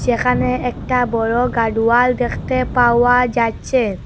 এখানে একটা বড় গাডোয়াল দেখতে পাওয়া যাচ্ছে।